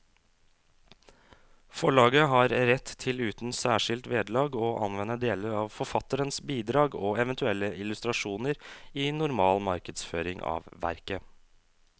Forlaget har rett til uten særskilt vederlag å anvende deler av forfatterens bidrag og eventuelle illustrasjoner i normal markedsføring av verket.